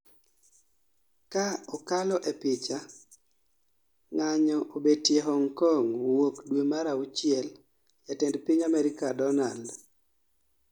ka okalo e picha, ng'anyo obetie Hong Kong wuok dwe mar auchiel Jatend piny Amerika Donald